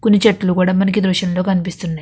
కొన్ని చెట్లు కూడా మనకి ఈ దృశ్యం లో కనిపిస్తున్నాయి.